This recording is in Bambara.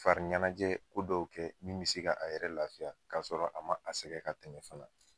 Fari ɲɛnajɛ ko dɔw kɛ min bi se ka a yɛrɛ lafiya k'a sɔrɔ a ma, a sɛgɛ ka tɛmɛ fɛnɛ